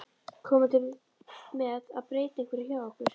Komið þið til með að breyta einhverju hjá ykkur?